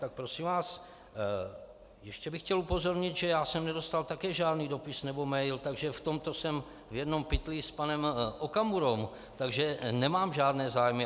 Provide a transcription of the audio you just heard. Tak prosím vás, ještě bych chtěl upozornit, že já jsem nedostal také žádný dopis nebo mail, takže v tomto jsem v jednom pytli s panem Okamurou, takže nemám žádné zájmy.